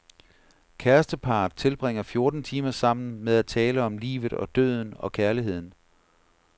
Kæresteparret tilbringer fjorten timer sammen med at tale om livet og døden og kærligheden.